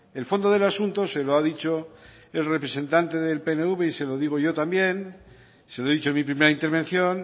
el fondo del asunto se lo ha dicho el representante del pnv y se lo digo yo también se lo he dicho en mi primera intervención